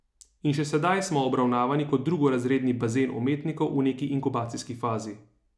In še sedaj smo obravnavani kot drugorazredni bazen umetnikov v neki inkubacijski fazi.